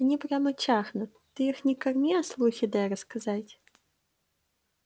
они прямо чахнут ты их не корми а слухи дай рассказать